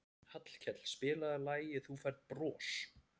Hallkell, spilaðu lagið „Þú Færð Bros“.